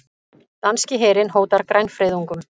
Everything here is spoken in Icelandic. Danski herinn hótar grænfriðungum